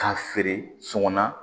K'a feere sɔngɔ na